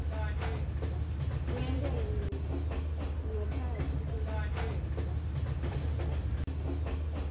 kuyenteka ngekhatsi kweluhlelo